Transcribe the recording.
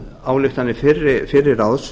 ályktanir fyrra ráðs